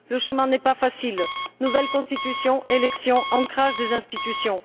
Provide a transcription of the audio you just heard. Le chemin n'est pas facile nouvelle Constitution, élections, ancrage des institutions...